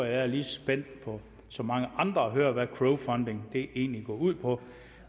jeg er lige så spændt som mange andre på at høre hvad crowdfunding egentlig går ud på